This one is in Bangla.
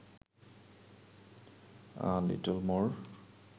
a little more